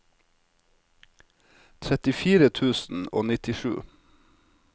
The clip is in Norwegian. trettifire tusen og nittisju